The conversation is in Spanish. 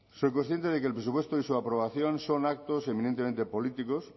soy consciente de que el presupuesto y su aprobación son actos eminentemente políticos